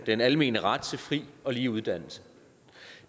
den almene ret til fri og lige uddannelse